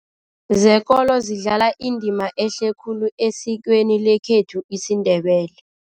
Zekolo zidlala indima ehle khulu esikweni lekhethu isiNdebele.